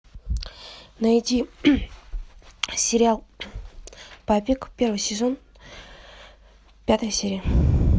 найди сериал папик первый сезон пятая серия